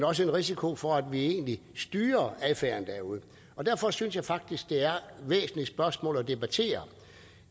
også en risiko for at vi egentlig styrer affæren derude derfor synes jeg faktisk det er væsentlige spørgsmål at debattere